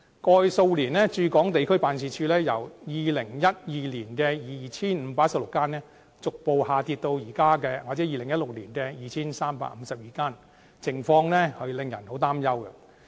過去數年，駐港地區辦事處由2012年的 2,516 間，逐步下跌至2016年的 2,352 間，情況令人相當擔憂。